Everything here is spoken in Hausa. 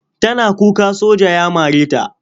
Tana kuka soja ya mare ta.